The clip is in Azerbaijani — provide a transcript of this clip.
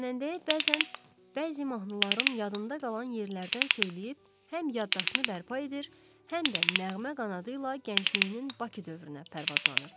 Xanəndəyə bəzən bəzi mahnıların yadında qalan yerlərdən söyləyib, həm yaddaşını bərpa edir, həm də nəğmə qanadı ilə gəncliyinin Bakı dövrünə pərvazlanırdı.